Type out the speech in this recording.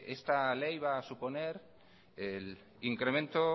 esta ley va a suponer el incremento